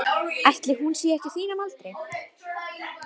Jesús María, mér er mál, leyfið mér að fara.